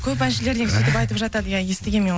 көп әншілер негізі сүйтіп айтып жатады иә естігем мен оны